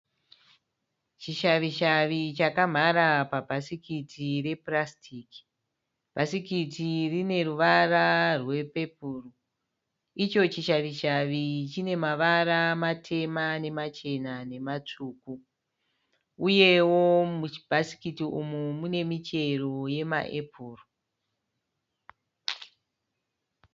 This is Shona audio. Chishavishavi chakamhara pabhasikiti repurasitiki. Bhasikiti rine ruvara rwepepuru. Icho chishavishavi chine mavara matema nemachena nematsvuku. Uyewo muchibhasikiti umu mune michero yemaepuru.